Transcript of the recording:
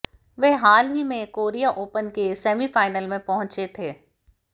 वह हाल ही में कोरिया ओपन के सेमीफाइनल में पहुंचे थे